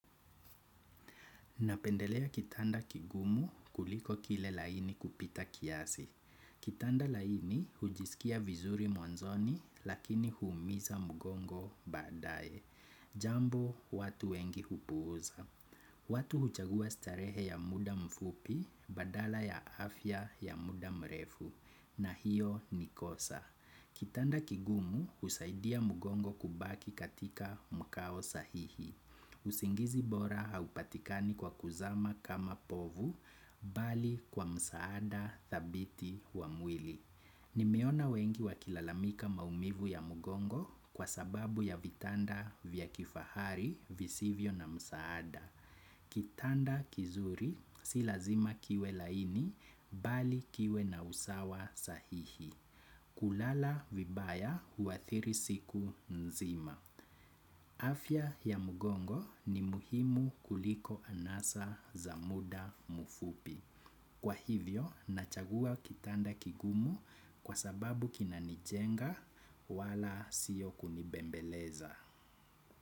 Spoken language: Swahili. Napendelea kitanda kigumu kuliko kile laini kupita kiasi. Kitanda laini hujiskia vizuri mwanzoni lakini huumiza mgongo badaye. Jambo watu wengi hupuuza. Watu huchagua starehe ya muda mfupi badala ya afya ya muda mrefu na hiyo ni kosa. Kitanda kigumu husaidia mgongo kubaki katika mkao sahihi. Usingizi bora haupatikani kwa kuzama kama povu bali kwa msaada dhabiti wa mwili. Nimeona wengi wakilalamika maumivu ya mgongo kwa sababu ya vitanda vya kifahari visivyo na msaada. Kitanda kizuri si lazima kiwe laini bali kiwe na usawa sahihi. Kulala vibaya huathiri siku nzima. Afya ya mgongo ni muhimu kuliko anasa za muda mfupi kwa hivyo, nachagua kitanda kigumu kwa sababu kina nijenga wala sio kunibembeleza.